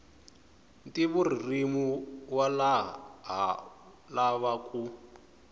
ntivoririmi wa ha lava ku